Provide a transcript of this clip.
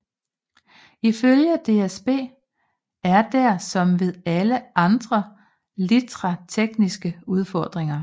Ifølge DSB er der som ved alle andre litra tekniske udfordringer